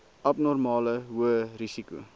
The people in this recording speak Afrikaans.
abnormale hoë risiko